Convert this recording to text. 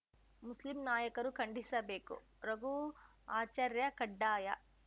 Muslim ನಾಯಕರು ಖಂಡಿಸಬೇಕು ರಘು ಆಚಾರ್ಯ ಕಡ್ಡಾಯ